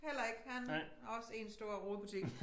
Heller ikke han er også én stor rodebutik